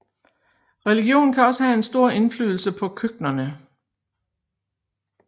Religion kan også have en stor indflydelse på køkkenerne